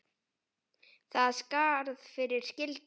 Þar er skarð fyrir skildi.